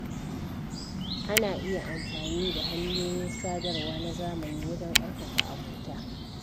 Ana iya amfani da hanyoyin sadarwa na zamani wajen ƙarfafa abota.